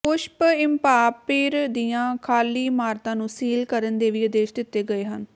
ਪੁਸ਼ਪ empire ਦੀਆਂ ਖ਼ਾਲੀ ਇਮਾਰਤਾਂ ਨੂੰ ਸੀਲ ਕਰਨ ਦੇ ਵੀ ਆਦੇਸ਼ ਦਿੱਤੇ ਗਏ ਹਨ